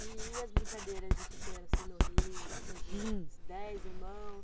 E as brincadeiras de pequena assim no rio, com suas dez irmãos?